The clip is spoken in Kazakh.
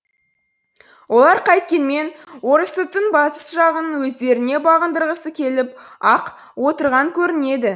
олар қайткенмен орұсуттың батыс жағын өздеріне бағындырғысы келіп ақ отырған көрінеді